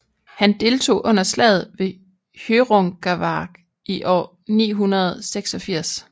Han deltog under slaget ved Hjörungavágr i år 986